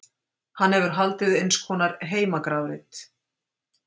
Hann hefur því haldið eins konar heimagrafreit.